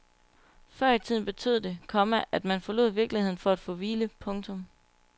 Før i tiden betød det, komma at man forlod virkeligheden for at få hvile. punktum